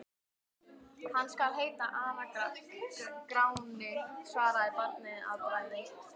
Hann skal heita Ara-Gráni, svaraði barnið að bragði.